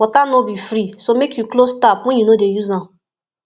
water no be free so make you close tap when you no dey use am